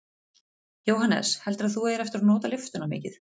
Jóhannes: Heldurðu að þú eigir eftir að nota lyftuna mikið?